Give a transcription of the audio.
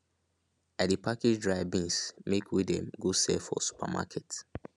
i dey package dry beans make wey dem go sale for supermarket